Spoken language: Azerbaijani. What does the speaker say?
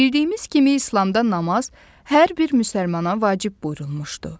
Bildiyimiz kimi İslamda namaz hər bir müsəlmana vacib buyurulmuşdu.